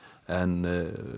en